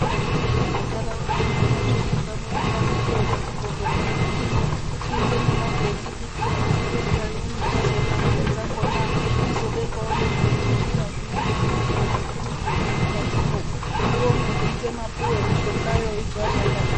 Aidarokwo eiti mundaraunda muno mwatuzuka muno ngatiitewo kuti chibhedhlera chedu chino chiite nemagetsi kuitire kuti ngenguwa imweni tazoona mare dzakona tizobekawo nezvinotintira zvinoite kuti zviro zvifirize mukatimwo zviome zviite mapuwe mushongayo igare yakana.